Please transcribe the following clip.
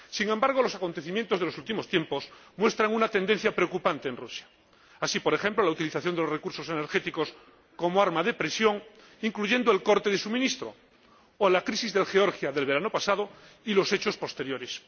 Sin embargo, los acontecimientos de los últimos tiempos muestran una tendencia preocupante en Rusia. Así, por ejemplo, la utilización de los recursos energéticos como arma de presión, incluyendo el corte de suministro, o la crisis de Georgia del verano pasado y los hechos posteriores.